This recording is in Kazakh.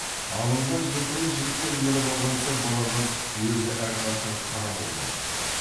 алынған жылқыны жігіттер мініп алған соң балағаз өзі әрқашан қарауылда отырады